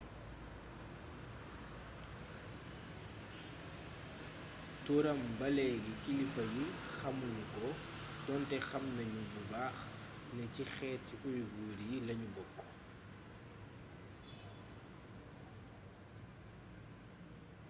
turam ba léegi kilifa yi xamu nu ko donte xam nanu bu baax ne ci xeeti uighur yi lanu bokk